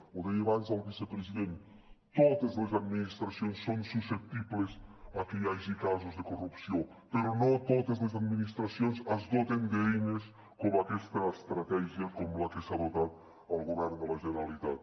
ho deia abans el vicepresident totes les administracions són susceptibles de que hi hagi casos de corrupció però no totes les administracions es doten d’eines com aquesta estratègia com la que s’ha dotat el govern de la generalitat